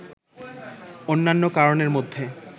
অন্যান্য কারণের মধ্যে